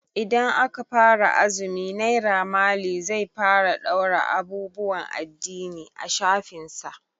Idan aka fara azumi Naira mali zai fara ɗaura abubuwan addini a shafinsa.